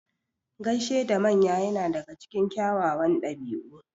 Gaishe da manya yana daga cikin kyawawan ɗabi'u.